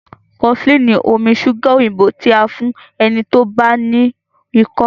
cofflin omí ṣuga òyìnbó ti a fún ẹní tí o bá no iko.